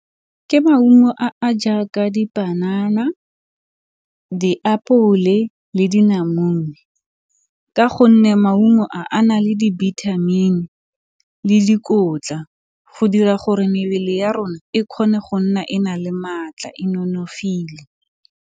Ke maungo a a jaaka dipanana, diapole le dinamune ka gonne maungo a, ana le dibithamini le dikotla go dira gore mebele ya rona e kgone go nna e na le maatla e nonofile.